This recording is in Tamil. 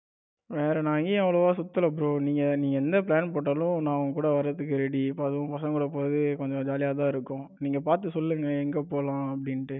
வேற நான் எங்கயும் அவ்வளவா சுத்தல bro நீங்க நீங்க எந்த plan போட்டாலும் நாங்க உங்க கூட வர்றதுக்கு ready அதுவும் பசங்க கூட போறது கொஞ்சம் ஜாலியா தான் இருக்கும். நீங்க பாத்து சொல்லுங்க எங்க போலாம் அப்படின்னு